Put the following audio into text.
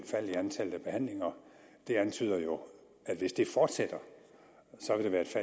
fald i antallet af behandlinger antyder jo at hvis det fortsætter